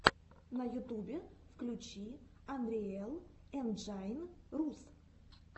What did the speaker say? на ютубе включи анриэл энджайн рус